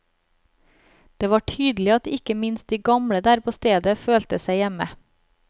Det var tydelig at ikke minst de gamle der på stedet følte seg hjemme.